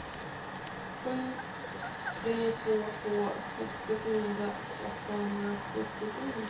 sju tre två två sextiofyra åttahundrasjuttiosju